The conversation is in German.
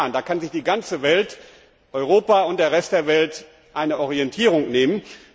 Das kann die ganze Welt Europa und der Rest der Welt als Orientierung nehmen.